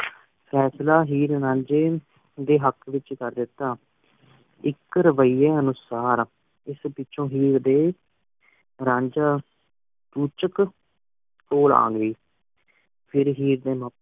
ਫਸਲਾ ਹੀਰ ਰਾਂਝੇ ਦੇ ਹੱਕ ਵਿਚ ਕਰ ਦਿਤਾ ਇਕ ਰੁਪ ਈਏ ਅਨੁਸਾਰ ਇਸ ਪਿੱਛੋਂ ਹੀਰ ਦੇ ਰਾਂਝਾ ਚੂਚਕ ਕੋਲ ਅਗੀ ਫੇਰ ਹੀਰ ਨੂ